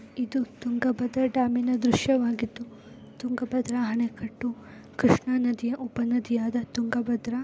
ಇದು ತುಂಗಾಭದ್ರ ಡಾಮಿ ನ ದೃಶ್ಯವಾಗಿದದ್ದು ತುಂಗಾಭದ್ರ ಅಣ್ಣೆ ಕಟ್ಟು ಕೃಷ್ಣನದಿಯ ಉಪನದಿ ಆದ ತುಂಗಾಭದ್ರ --